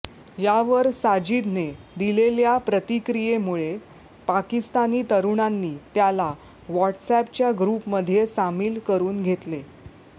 यावर साजिदने दिलेल्या प्रतिक्रियेमुळे पाकिस्तानी तरुणांनी त्याला व्हॅट्सअॅपच्या ग्रुपमध्ये सामिल करून घेतले